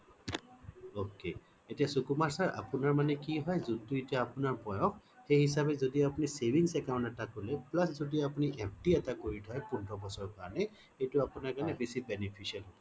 ok এতিয়া Sukumar sir আপোনাৰ মানে কি হয় যোনটো এতিয়া আপোনাৰ বয়স সেই হিচাপে যদি আপুনি savings account এটা খোলে Plus আপুনি FD এটা কৰি থই পোন্ধৰ বছৰৰ কাৰণে সেইটো আপোনাৰ কাৰণে বেছি beneficial